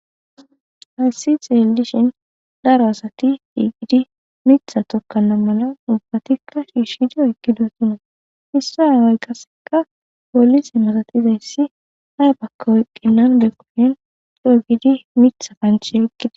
Hayssi xeellishin daro asati eqqidi miththa tokkana mala ubbatikka ciishshe coo oyqidisona. Hessi aaway qasseka poolise malatizayssi ay oyqqidako erettenna coo giidi miththa kanche oyqides.